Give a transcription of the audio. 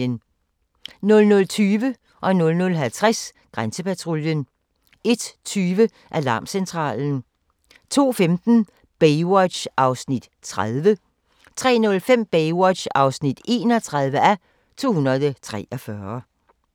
00:20: Grænsepatruljen 00:50: Grænsepatruljen 01:20: Alarmcentralen 02:15: Baywatch (30:243) 03:05: Baywatch (31:243)